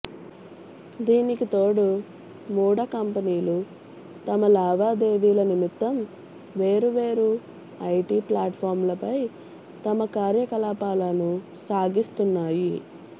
దీనికి తోడు మూడ కంపెనీలు తమ లావాదేవీల నిమిత్తం వేరువేరు ఐటీ ప్లాట్ఫాంలపై తమ కార్యకలాపాలను సాగిస్తున్నాయి